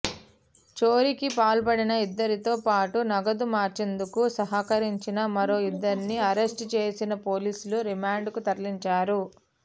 చోరీకి పాల్పడిన ఇద్దరితో పాటు నగదు మార్చేందుకు సహకరించిన మరో ఇద్దరిని అరెస్టు చేసిన పోలీసులు రిమాండ్కు తరలించారు